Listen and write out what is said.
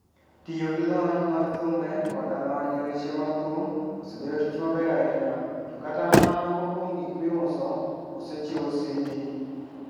Tiyo gi lony mar thumbe koda lony e weche mag thum osebedo tich maber ahinya, to kata mana moko kuom gik miuso osechiwo CD.